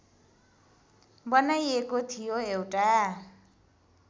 बनाइएको थियो एउटा